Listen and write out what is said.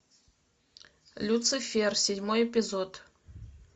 люцифер седьмой эпизод